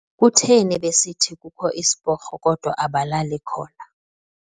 Kutheni besithi kukho isiporho kodwa abalali khona.